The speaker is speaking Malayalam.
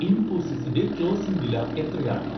ഇൻഫോസിസിന്റെ ക്ലോസിംഗ് വില എത്രയാണ്